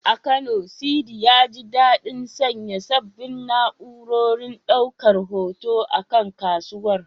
A Kano, Sidi, ya ji daɗin sanya sabbin na’urorin ɗaukar hoto a kan kasuwar.